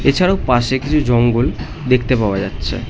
এছাড়াও পাশে কিছু জঙ্গল দেখতে পাওয়া যাচ্ছে।